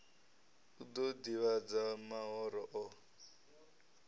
u ḓo ḓivhadza mahoro o